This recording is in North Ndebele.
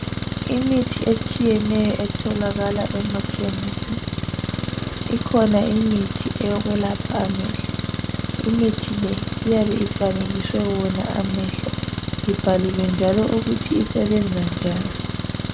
Imithi etshiyeneyo otholakala emakhemesi ikhona imithi yokwepha amehlo. Imithi le iyabe ifanekiswe yona amehlo ibhaliwe njalo ukuthi isebenza njani.